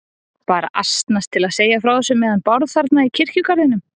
Bara asnast til að segja frá þessu með hann Bárð þarna í kirkjugarðinum.